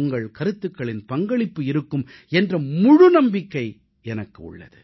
உங்கள் கருத்துகளின் பங்களிப்பு இருக்கும் என்ற முழு நம்பிக்கை எனக்கு உள்ளது